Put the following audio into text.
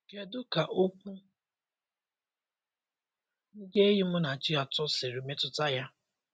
Kedụ ka okwu ndi enyi Munachi atọ siri metụta ya?